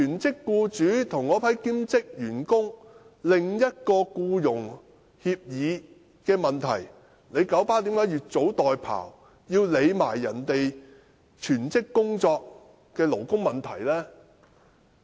這是九巴的兼職員工與其全職僱主之間的僱傭協議問題，為何九巴要越俎代庖，要管別人全職工作的勞工問題呢？